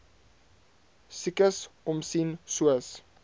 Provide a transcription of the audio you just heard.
siekes omsien soos